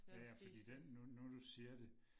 Ja ja fordi den nu nu du siger det